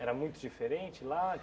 Era muito diferente lá?